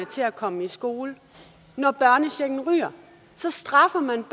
til at komme i skole når børnechecken ryger så straffer man